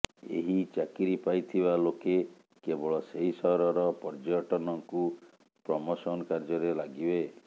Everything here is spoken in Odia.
ଏହି ଚାକିରି ପାଇଥିବା ଲୋକେ କେବଳ ସେହି ସହରର ପର୍ଯ୍ୟଟନକୁ ପ୍ରମୋସନ୍ କାର୍ଯ୍ୟରେ ଲାଗିବେ